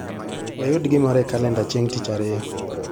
Wayud gimoro e kalenda chieng' tich ariyo.